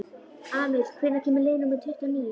Amil, hvenær kemur leið númer tuttugu og níu?